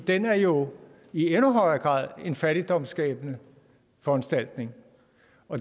den er jo i endnu højere grad en fattigdomsskabende foranstaltning